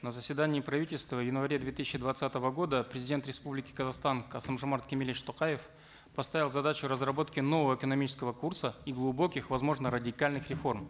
на заседании правительства в январе две тысячи двадцатого года президент республики казахстан касым жомарт кемелевич токаев поставил задачу разработки нового экономического курса и глубоких возможно радикальных реформ